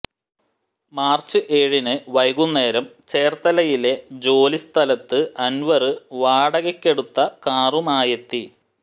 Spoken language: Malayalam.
മാര്ച്ച് ഏഴിന് വൈകുന്നേരം ചേര്ത്തലയിലെ ജോലി സ്ഥലത്ത് അന്വര് വാടകയ്ക്കെടുത്ത കാറുമായെത്തി